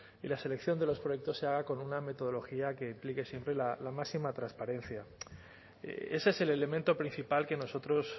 y la selección de los proyectos se haga con una metodología que implique siempre la máxima transparencia ese es el elemento principal que nosotros